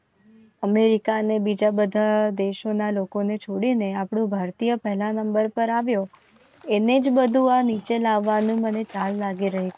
અમેરિકાને બીજા બધા દેશોના લોકોને છોડીને આપણો ભારતીય પહેલા નંબર પર આવ્યો એને જ બધું આ નીચે લાવવાનું મને ચાર વાગે રહે